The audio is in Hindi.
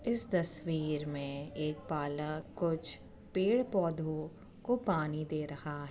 इस तस्वीर में एक बालक कुछ पेड़-पौधों को पानी दे रहा --